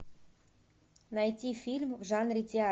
найти фильм в жанре театр